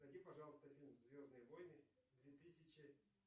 найди пожалуйста фильм звездные войны две тысячи